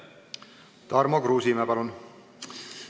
Tarmo Kruusimäe, palun!